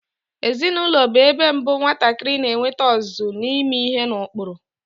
Ezinaụlọ bụ ebe mbụ nwatakịrị na-enwete ọzụzụ ime ihe n'ụkpụrụ.